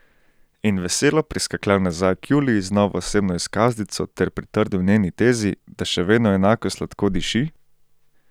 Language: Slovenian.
In veselo priskakljal nazaj k Juliji z novo osebno izkaznico ter pritrdil njeni tezi, da še vedno enako sladko diši?